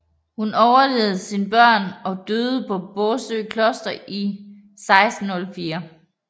Hun overlevede sine børn og døde på Bosø Kloster i 1604